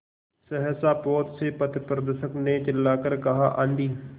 सहसा पोत से पथप्रदर्शक ने चिल्लाकर कहा आँधी